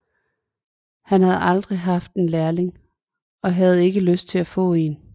Han havde aldrig haft en lærling og havde ikke lyst til at få en